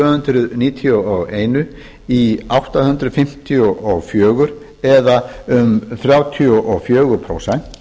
hundruð níutíu og eitt í átta hundruð fimmtíu og fjögur eða um þrjátíu og fjögur prósent